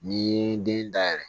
N'i ye den dayɛlɛ